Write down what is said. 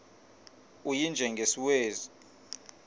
u y njengesiwezi